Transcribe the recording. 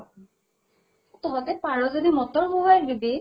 তহঁতে পাৰʼ যদি motor বহোৱাই দিবি।